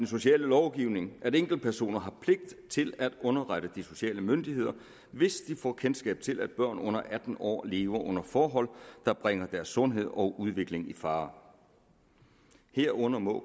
sociallovgivningen at enkeltpersoner har pligt til at underrette de sociale myndigheder hvis de får kendskab til at børn under atten år lever under forhold der bringer deres sundhed og udvikling i fare herunder må